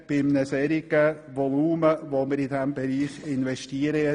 Und dies angesichts eines solchen Volumens, das wir jedes Jahr investieren?